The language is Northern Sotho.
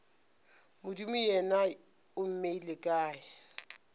modimo yena o mmeile kae